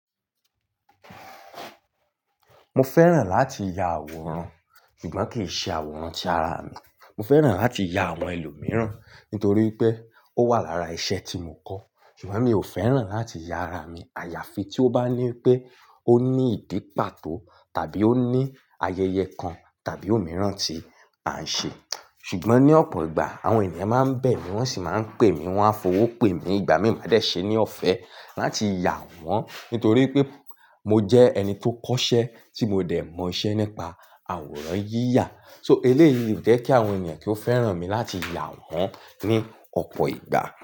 Mo fẹ́ràn láti ya àwòrán ṣùgbọ́n kì í ṣe àwòrán ti ara mi. Mo fẹ́ràn láti ya àwọn ẹlòmíràn nítorí pé ó wà lára iṣẹ́ tí mo kọ́ ṣùgbọ́n mi ò fẹ́ràn láti ya ara mi. Àyàfi tí ó bá ní pé ó ní ìdí pàtó tàbí ó ní ayẹyẹ kan tàbí òmíràn tí à ń ṣe. Ṣùgbọ́n ní ọ̀pọ̀ ìgbà àwọn ènìyàn máa ń bẹ̀ mí wọ́n sì máa ń pè mí, wọ́n á fowó pè mí, ìgbà mí máa dẹ̀ ṣe ní ọ̀fẹ́ láti ya wọ́n nítorí pé mo jẹ́ ẹni tó kọ́ṣẹ́ tí mo dẹ̀ mọ iṣẹ́ nípa àwòrán yíyà. So, eléyìí ò jẹ́ kí àwọn ènìyàn kí ó fẹ́ràn mi láti ya wọ́n ní ọ̀pọ̀ ìgbà.